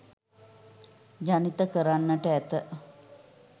ජනිත කරන්නට ඇත.